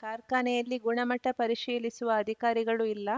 ಕಾರ್ಖಾನೆಯಲ್ಲಿ ಗುಣಮಟ್ಟಪರಿಶೀಲಿಸುವ ಅಧಿಕಾರಿಗಳು ಇಲ್ಲ